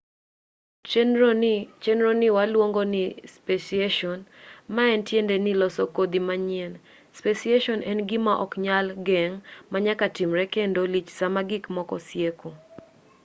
chenroni waluongo nii speciation maen tiende ni loso kodhi manyien speciation en gima ok nyal geng' manyaka timre kendo lich sama gik moko sieko